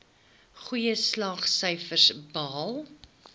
goeie slaagsyfers behaal